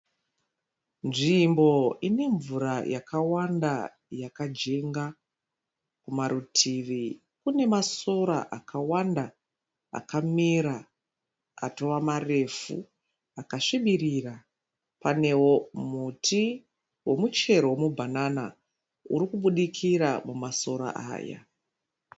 Nzvimbo inemvura yakawanda yakajenga. Kumarutivi kunemasora akawanda akamera atova marefu akasvibirira. Panewo muti wemu chero wemu bhanana urikubudikira mumasora aya.